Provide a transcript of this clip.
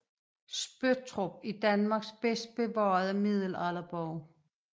Spøttrup er Danmarks bedst bevarede middelalderborg